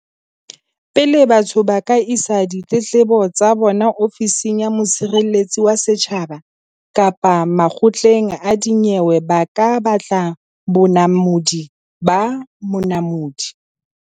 Pele batho ba ka isa ditletlebo tsa bona Ofising ya Mosireletsi wa Setjhaba kapa makgotleng a dinyewe ba ka batla bonamodi ba Monamodi.